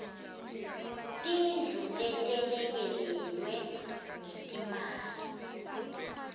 tindlu letelekelelwe ngetimali